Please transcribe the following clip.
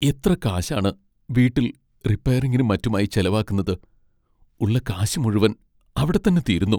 എത്ര കാശാണ് വീട്ടിൽ റിപ്പയറിങ്ങിനും മറ്റുമായി ചെലവാക്കുന്നത്, ഉള്ള കാശ് മുഴുവൻ അവിടെത്തന്നെ തീരുന്നു.